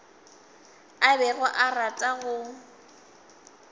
a bego a rata go